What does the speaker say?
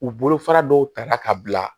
U bolo fara dɔw ta la ka bila